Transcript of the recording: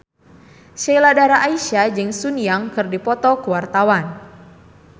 Sheila Dara Aisha jeung Sun Yang keur dipoto ku wartawan